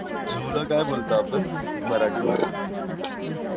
zoo ला काय बोलतो आपण मराठी मध्ये